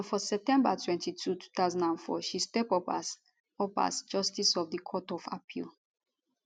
and for september 22 2004 she step up as up as justice of the court of appeal